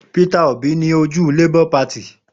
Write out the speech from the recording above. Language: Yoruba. Peter Òbí ní ojú Labour Party.